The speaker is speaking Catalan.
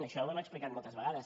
això ho hem explicat moltes vegades